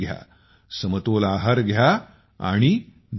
समतोल आहार घ्या आणि निरोगी राहा